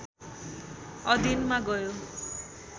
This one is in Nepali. अधीनमा गयो